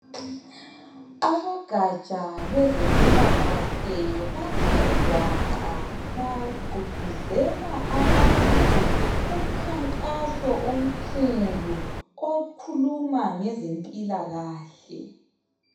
Abogatsha lwezempila kahle bathe gwaqa bagqogqozela abantu kumkhankaso omkhulu okhuluma ngezempila kahle.